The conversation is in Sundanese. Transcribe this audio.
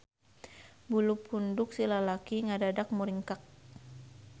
Bulu punduk si lalaki ngadadak muringkak.